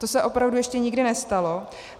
To se opravdu ještě nikdy nestalo.